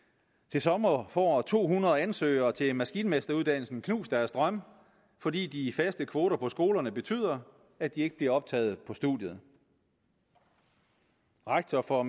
til sommer får to hundrede ansøgere til maskinmesteruddannelsen knust deres drømme fordi de faste kvoter på skolerne betyder at de ikke bliver optaget på studiet rektor for